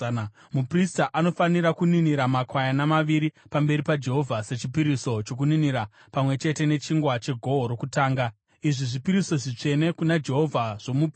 Muprista anofanira kuninira makwayana maviri pamberi paJehovha sechipiriso chokuninira pamwe chete nechingwa chegohwo rokutanga. Izvi zvipiriso zvitsvene kuna Jehovha zvomuprista.